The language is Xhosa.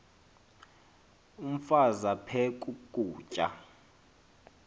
umfaz aphek ukutya